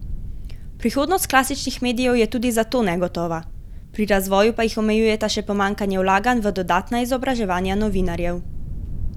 Prihodnost klasičnih medijev je tudi zato negotova, pri razvoju pa jih omejujeta še pomanjkanje vlaganj v dodatna izobraževanja novinarjev.